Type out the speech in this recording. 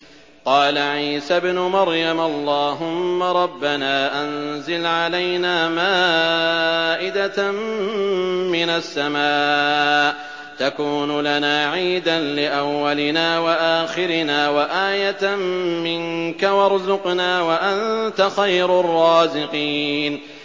قَالَ عِيسَى ابْنُ مَرْيَمَ اللَّهُمَّ رَبَّنَا أَنزِلْ عَلَيْنَا مَائِدَةً مِّنَ السَّمَاءِ تَكُونُ لَنَا عِيدًا لِّأَوَّلِنَا وَآخِرِنَا وَآيَةً مِّنكَ ۖ وَارْزُقْنَا وَأَنتَ خَيْرُ الرَّازِقِينَ